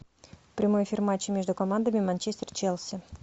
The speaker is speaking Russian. прямой эфир матча между командами манчестер челси